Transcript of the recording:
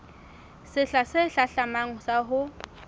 sehla se hlahlamang sa ho